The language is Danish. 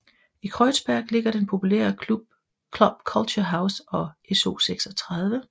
I Kreuzberg ligger den populære Club Culture House og SO36